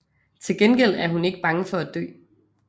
Tilgengæld er hun ikke bange for at dø